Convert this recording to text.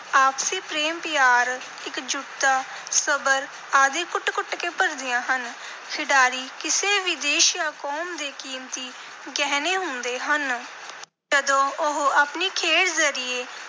ਆਪਸੀ ਪ੍ਰੇਮ ਪਿਆਰ, ਇਕਜੁੱਟਤਾ, ਸਬਰ ਆਦਿ ਕੁੱਟ-ਕੁੱਟ ਕੇ ਭਰਦੀਆਂ ਹਨ। ਖਿਡਾਰੀ ਕਿਸੇ ਵੀ ਦੇਸ਼ ਜਾਂ ਕੌਮ ਦੇ ਕੀਮਤੀ ਗਹਿਣੇ ਹੁੰਦੇ ਹਨ। ਜਦੋਂ ਉਹ ਆਪਣੀ ਖੇਡ ਜ਼ਰੀਏ